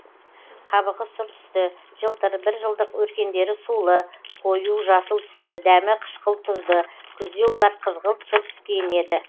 қабығы сұр түсті жылтыр бір жылдық өркендері сулы қою жасыл түсті дәмі қышқыл тұзды күзде олар қызғылт сұр түске енеді